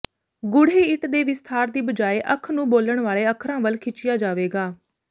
ਗੂੜ੍ਹੇ ਇੱਟ ਦੇ ਵਿਸਥਾਰ ਦੀ ਬਜਾਏ ਅੱਖ ਨੂੰ ਬੋਲਣ ਵਾਲੇ ਅੱਖਰਾਂ ਵੱਲ ਖਿੱਚਿਆ ਜਾਵੇਗਾ